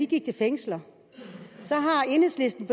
gik til fængsler så har enhedslisten